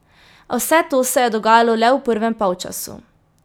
A vse to se je dogajalo le v prvem polčasu.